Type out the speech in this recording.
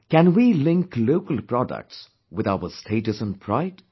Can we link local products with our status and pride